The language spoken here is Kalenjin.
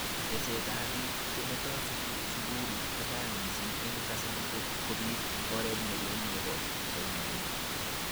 Teset ab bik chemetoi sukul kochang mising eng kasari kobit oret nelel nebo soimanet.